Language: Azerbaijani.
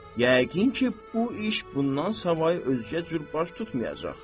Yəqin ki, bu iş bundan savayı özgə cür baş tutmayacaq.